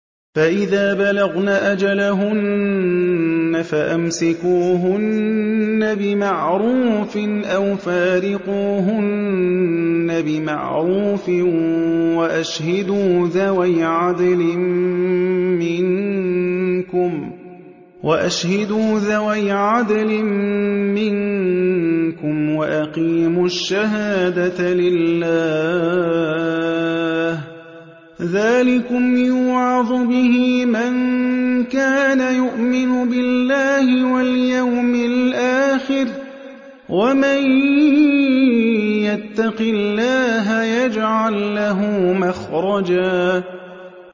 فَإِذَا بَلَغْنَ أَجَلَهُنَّ فَأَمْسِكُوهُنَّ بِمَعْرُوفٍ أَوْ فَارِقُوهُنَّ بِمَعْرُوفٍ وَأَشْهِدُوا ذَوَيْ عَدْلٍ مِّنكُمْ وَأَقِيمُوا الشَّهَادَةَ لِلَّهِ ۚ ذَٰلِكُمْ يُوعَظُ بِهِ مَن كَانَ يُؤْمِنُ بِاللَّهِ وَالْيَوْمِ الْآخِرِ ۚ وَمَن يَتَّقِ اللَّهَ يَجْعَل لَّهُ مَخْرَجًا